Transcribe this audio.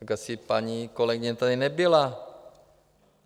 Tak asi paní kolegyně tady nebyla.